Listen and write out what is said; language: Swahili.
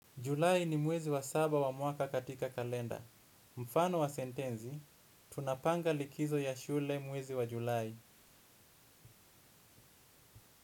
Julai ni mwezi wa saba wa mwaka katika kalenda. Mfano wa sentensi: Tunapanga likizo ya shule mwezi wa Julai.